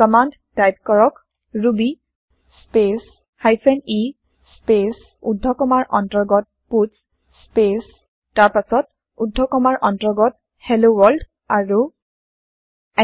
command type কৰক Ruby space hyphen e space ঊৰ্ধ কমাৰ অন্তৰ্গত পাটছ স্পেচ তাৰ পাছত ঊৰ্ধ কমাৰ অন্তৰ্গত হেল্ল ৱৰ্ল্ড আৰু